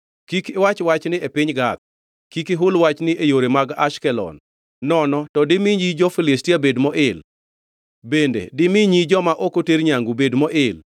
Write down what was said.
“Kik iwach wachni e piny Gath, kik ihul wachni e yore man Ashkelon, nono to dimi nyi jo-Filistia bed moil, bende dimi nyi joma ok oter nyangu bed moil.